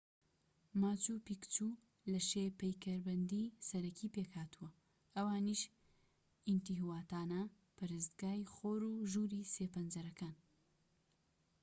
ماچو پیکچو لە شێ پەیکەربەندی سەرەکی پێکهاتووە ئەوانیش ئینتیهواتانا و پەرستگای خۆر و ژووری سێ پەنجەرەکەن